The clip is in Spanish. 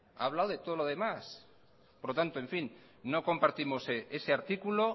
ha hablado de todo los demás por lo tanto no compartimos ese artículo